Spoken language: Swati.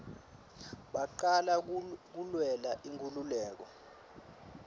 bacala kulwela inkululeko